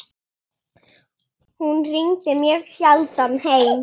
Hún hringdi mjög sjaldan heim.